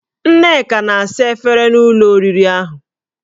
Nneka na-asa efere na ụlọ oriri ahụ